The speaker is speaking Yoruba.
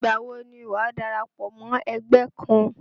Ìgbà wo ni wàá darapọ̀ mọ́ ẹgbẹ́ kan?